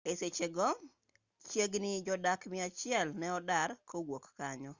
e sechego chiegini jodak miachiel ne odar kowuok kanyo